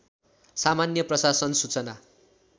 सामान्य प्रशासन सूचना